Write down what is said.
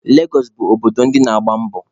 Legọsụ bụ obodo ndi na-agba mbọ.